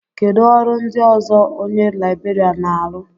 Kedu ọrụ ndị ọzọ onye Libèrián na-arụ?